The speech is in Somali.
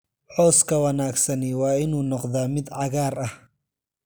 Cawska wanaagsani waa inuu noqdaa mid cagaar ah